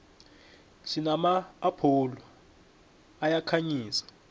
sinama apholo ayakhanyisa